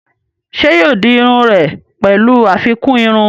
Ṣé yóò di iru rẹ̀ pẹ̀lú àfikún irun?